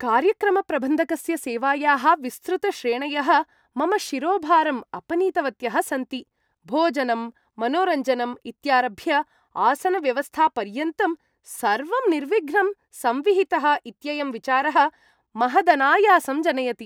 कार्यक्रमप्रबन्धकस्य सेवायाः विस्तृतश्रेणयः मम शिरोभारम् अपनीतवत्यः सन्ति, भोजनम्, मनोरञ्जनम् इत्यारभ्य आसनव्यवस्थापर्यन्तं सर्वं निर्विघ्नं संविहितः इत्ययं विचारः महदनायासं जनयति।